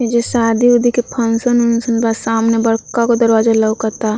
ऐजा शादी-उदी के फन्सन -उन्सन बा। सामने बड़का गो दरवाजा लउकता।